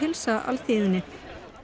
þá hefur klæðaburður